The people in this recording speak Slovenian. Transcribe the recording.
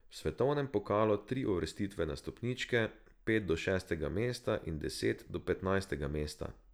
V svetovnem pokalu tri uvrstitve na stopničke, pet do šestega mesta in deset do petnajstega mesta.